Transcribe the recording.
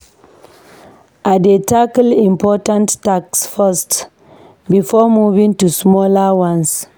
I dey tackle important tasks first before moving to smaller ones.